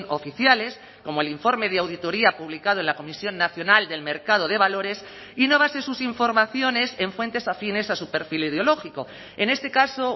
oficiales como el informe de auditoría publicado en la comisión nacional del mercado de valores y no base sus informaciones en fuentes afines a su perfil ideológico en este caso